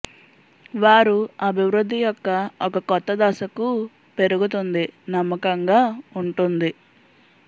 వారు అభివృద్ధి యొక్క ఒక కొత్త దశకు పెరుగుతుంది నమ్మకంగా ఉంటుంది